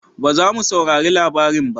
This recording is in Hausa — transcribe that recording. Ba za mu saurari labarin ba